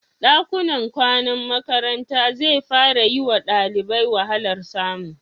Ɗakunan kwanan makaranta zai fara yi wa ɗalibai wahalar samu.